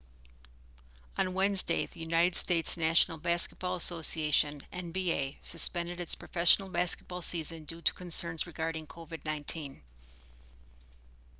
on wednesday the united states' national basketball association nba suspended its professional basketball season due to concerns regarding covid-19